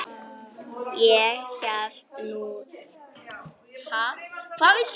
Ég hélt nú það.